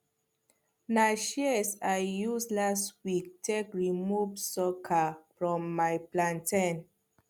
na shears i use last week take remove sucker from my plantain